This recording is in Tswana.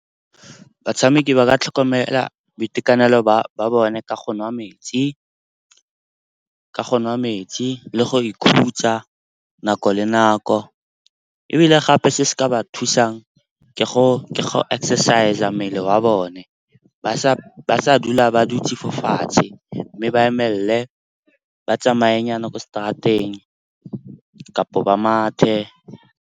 Batshameki ba ka tlhokomela boitekanelo ba bone ka go nwa metsi le go ikhutsa nako le nako. Ebile gape se se ka ba thusang ke go ke exercise-a mmele wa bone, ba sa dula ba dutse fo fatshe. Mme ba emelele, ba tsamaye nyana kwa straat-eng, kapa ba mathe.